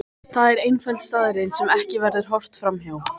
Það er einföld staðreynd sem ekki verður horft fram hjá.